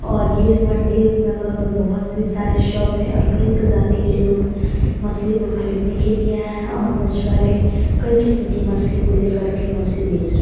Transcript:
और ये जो मंडी हैं उसमें अगल अगल बहोत ही सारे शॉप हैं और कई प्रजाती के लोग मछली को खरीदने के लिए आए हैं और मछुआरे कई किस्म की मछली को लेकर के मछली बेच र --